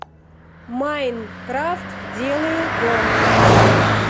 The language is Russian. майнкрафт делаю дом